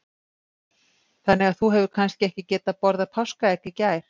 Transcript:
Þannig að þú hefur kannski ekki getað borðað páskaegg í gær?